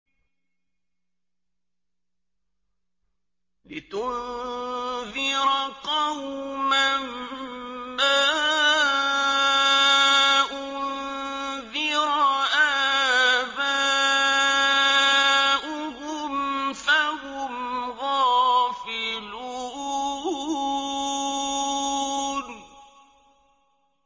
لِتُنذِرَ قَوْمًا مَّا أُنذِرَ آبَاؤُهُمْ فَهُمْ غَافِلُونَ